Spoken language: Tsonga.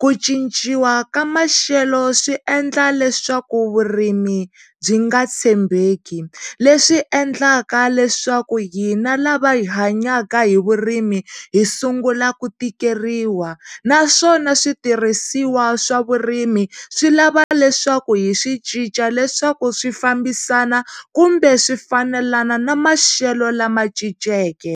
ku cinciwa ka maxelo swi endla leswaku vurimi byi nga tshembeki leswi endlaka leswaku hina lava hi hanyaka hi vurimi hi sungula ku tikeriwa naswona switirhisiwa swavurimi swi lava leswaku hi swi cinca leswaku swi fambisana kumbe swi fanelana na maxelo lama cinceke.